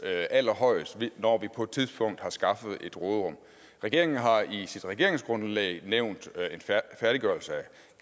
allerhøjest når vi på et tidspunkt har skaffet et råderum regeringen har i sit regeringsgrundlag nævnt en færdiggørelse af